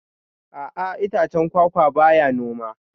A'a itacen kwakwa ba ya noma